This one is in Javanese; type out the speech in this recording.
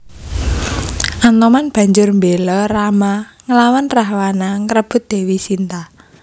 Anoman banjur mbéla Rama nglawan Rahwana ngrebut Dèwi Sinta